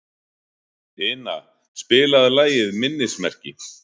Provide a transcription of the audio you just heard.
Ina, spilaðu lagið „Minnismerki“.